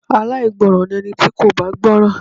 Aláìgbọràn ni ẹni tí kò bá gbọ́ràn.